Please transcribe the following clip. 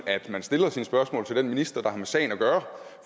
at man stiller sine spørgsmål til den minister der har med sagen at gøre